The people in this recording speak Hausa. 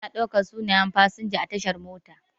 Ana ɗaukan sunaye fasinja a tashar mota.